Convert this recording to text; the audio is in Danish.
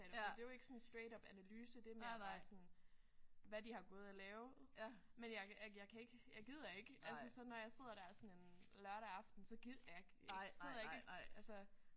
For det jo ikke sådan straight up analyse det mere bare sådan hvad de har gået og lavet. Men jeg jeg kan ikke jeg gider ikke altså så når jeg sidder der sådan en lørdag aften jeg gider ikke jeg sidder ikke og altså